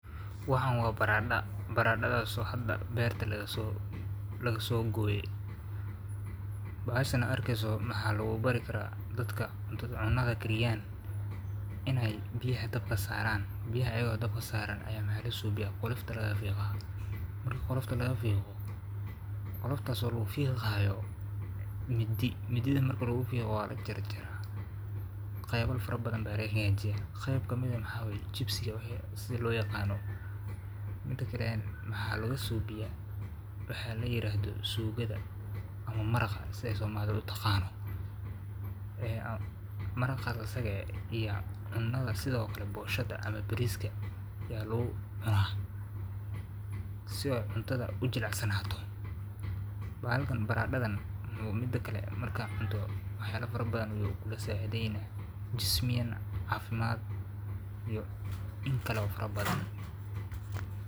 Waxan waa baradha, baradadha oo hada beerta lakasogoye, bahashan aa arkeyso waxa lakubarikara dadka cunadha kariyan inay biyaha dabka saaran, kadibna kolofta lakafiigax ayado midi la isticmalayo, kadibna lakahagajiya nocyo kala duban sidha jipsiga iyo suukadha lakucuno poshoda iyo bariska, sii ay ujilicsadhan ,baradadha aya muhim utahay nolosha biniadamka guud axan baa.